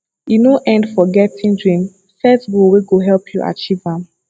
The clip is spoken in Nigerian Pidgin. e no end for getting dream set goal wey go help you achieve am